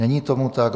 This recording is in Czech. Není tomu tak.